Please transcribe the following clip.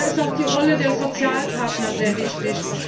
Da ist auch die Rolle der Sozialpartner sehr wichtig.